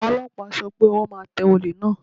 Àwọn Ọlọ́pàá sọ pé ọwọ́ máa tẹ olè náà.